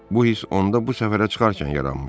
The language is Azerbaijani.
Bu hiss onda bu səfərə çıxarkən yaranmışdı.